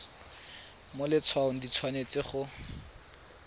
mo letshwaong di tshwanetse go